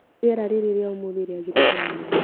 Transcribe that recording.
Rĩera rĩra ria ũmũthĩ rĩagĩrĩte mũno.